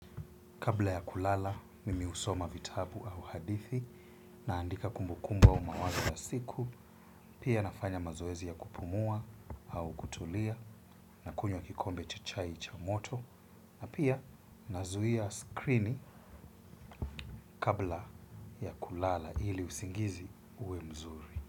Kabla ya kulala, mimi husoma vitabu au hadithi, naandika kumbukumbu au mawazo ya siku, pia nafanya mazoezi ya kupumua au kutulia, na kunywa kikombe cha chai cha moto, na pia nazuia skrini kabla ya kulala ili usingizi uwe mzuri.